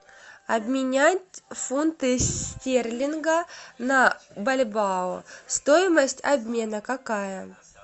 обменять фунты стерлинга на бальбоа стоимость обмена какая